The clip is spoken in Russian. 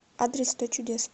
адрес сто чудес